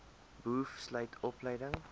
boov sluit opleiding